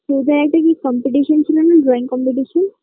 তোদের একটা কি competition ছিলনা drawing competition